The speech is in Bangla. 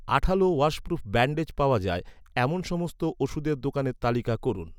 আঠালো ওয়াশপ্রুফ ব্যান্ডেজ পাওয়া যায়, এমন সমস্ত ওষুধের দোকানের তালিকা করুন